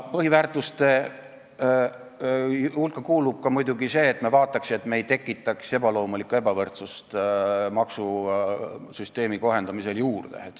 Põhiväärtuste hulka kuulub muidugi ka see, et me vaataks, et me ei tekitaks maksusüsteemi kohendamisel ebaloomulikku ebavõrdsust juurde.